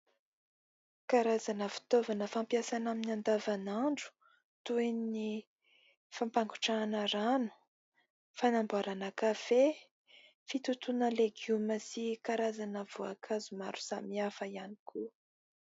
Karazana fitaovana fampiasaina amin'ny andavanandro toy ny fampangotrahana rano, fanamboarana kafe, fitotoana legioma sy karazana voankazo maro samihafa ihany koa.